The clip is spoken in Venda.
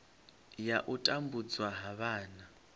ya u tambudzwa ha vhana